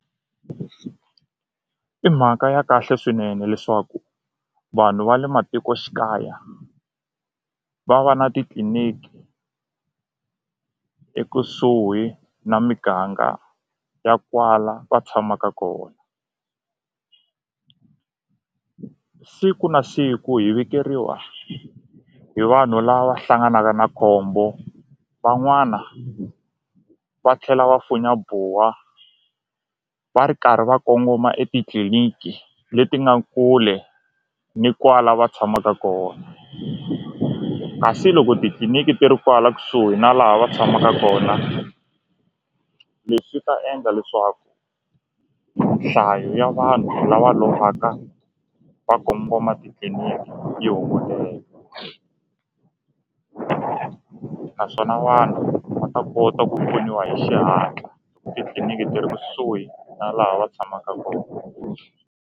I mhaka ya kahle swinene leswaku vanhu va le matikoxikaya va va na titliniki ekusuhi na miganga ya kwala va tshamaka kona siku na siku hi vikeriwa hi vanhu lava hlanganaka na khombo van'wana va tlhela va funya buwa va ri karhi va kongoma etitliliniki leti nga kule ni kwala va tshamaka kona kasi loko titliliniki ti ri kwala kusuhi na laha va tshamaka kona leswi ta endla leswaku nhlayo ya vanhu lava lovaka va kongoma titliniki yi naswona vanhu va ta kota ku pfuniwa hi xihatla titliliniki ti ri kusuhi na laha va tshamaka kona.